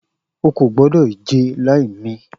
O ko gbodo ije lai mi!